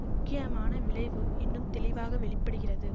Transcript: முக்கியமான விளைவு இன்னும் தெளிவாக வெளி படுகிறது